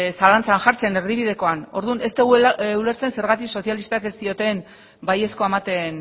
zalantzan jartzen erdibidekoan orduan ez dugu ulertzen zergatik sozialistak ez dioten baiezkoa ematen